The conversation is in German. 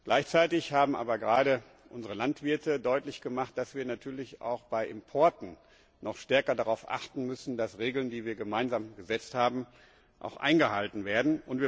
Gleichzeitig haben aber gerade unsere Landwirte deutlich gemacht, dass wir auch bei Importen noch stärker darauf achten müssen, dass Regeln, die wir gemeinsam gesetzt haben, auch eingehalten werden.